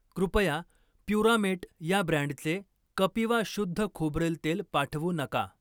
कृपया प्युरामेट या ब्रँडचे कपिवा शुद्ध खोबरेल तेल पाठवू नका.